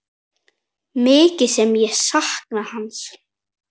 Mikið sem ég sakna hans.